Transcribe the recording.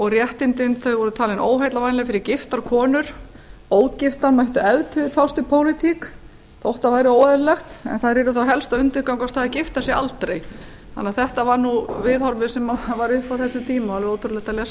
og réttindin þau voru talin óheillavænleg fyrir giftar konur ógiftar mættu ef til vill fást við pólitík þótt það væri óeðlilegt en þær yrðu þá helst að undirgangast það að gifta sig aldrei þannig að þetta var nú viðhorfið sem var uppi á þessum tíma alveg ótrúlegt að lesa þetta